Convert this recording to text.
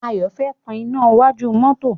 Ayọ̀ fẹ́ tan iná iwájú mọ́tọ́.